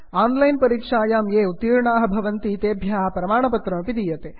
on line परीक्षायां ये उत्तीर्णाः भवन्ति तेभ्यः प्रमाणपत्रमपि दीयते